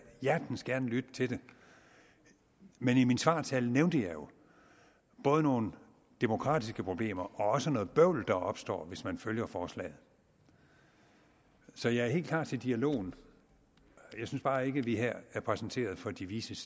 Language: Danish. hjertens gerne lytte til det men i min svartale nævnte jeg jo både nogle demokratiske problemer og også noget bøvl der ville opstå hvis man følger forslaget så jeg er helt klar til dialogen jeg synes bare ikke at vi her er præsenteret for de vises